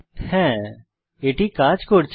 হ্যাঁ এটি কাজ করছে